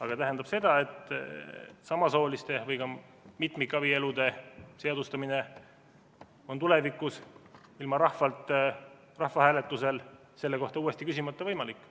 See tähendab seda, et samasooliste isikute abielude või ka mitmikabielude seadustamine on tulevikus ilma rahvahääletusel selle kohta uuesti küsimata võimalik.